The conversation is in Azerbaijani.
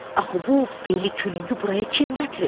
Axı bu beli kürüngü buraya kim gətirib?